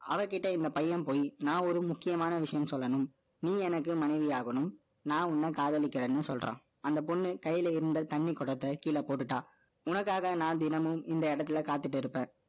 இந்த பையன் பொய். நான் ஒரு முக்கியமான விஷயம் சொல்லணும். நீ எனக்கு மனைவியாகணும். நான் உன்னை காதலிக்கிறேன்னு சொல்றான். அந்த பொண்ணு, கையில இருந்த தண்ணி குடத்தை, கீழே போட்டுட்டா. உனக்காக, நான் தினமும், இந்த இடத்துல காத்திட்டு இருப்பேன்.